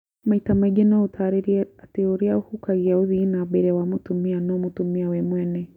Maita maingĩ no ũtarĩrie atĩ ũrĩa ũhukagia ũthii wa nambere wa mũtumia no mũtumia we mwene